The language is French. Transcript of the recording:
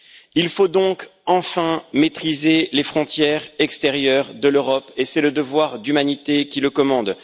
Il faut donc enfin maîtriser les frontières extérieures de l'Europe et c'est le devoir d'humanité qui le commande.